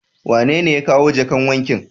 Wanene ya kawo jakan waken.?